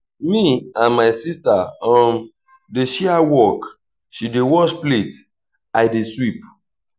me and my sister um dey share work she dey wash plate i dey sweep.